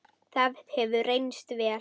Það hefur reynst vel.